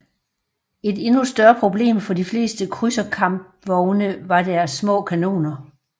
Et endnu større problem for de fleste krydserkampvogne var deres små kanoner